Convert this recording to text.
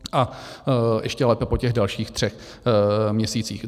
A ještě lépe po těch dalších třech měsících.